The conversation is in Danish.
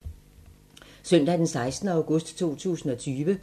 Søndag d. 16. august 2020